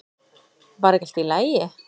Var ekki allt í lagi?